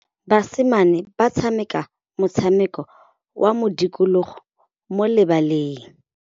Basimane ba tshameka motshameko wa modikologô mo lebaleng.